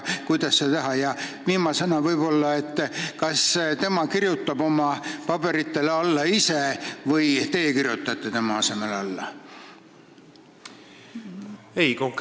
Kas tema kirjutab ise paberitele alla või kirjutate teie tema asemel?